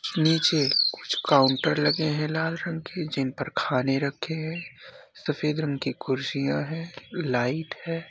नीचे कुछ काउंटर लगे हैं लाल रंग के जिन पर खाने रखें हैं। सफ़ेद रंग की कुर्सियाँ हैं लाइट है।